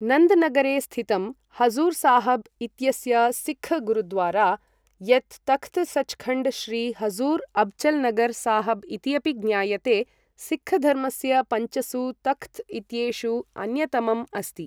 नन्द् नगरे स्थितं हजुर् साहब् इत्यस्य सिख् गुरुद्वारा, यत् तख्त् सच्खण्ड् श्री हजुर् अब्चल्नगर् साहब् इति अपि ज्ञायते, सिक्खधर्मस्य पञ्चसु तख्त् इत्येषु अन्यतमम् अस्ति।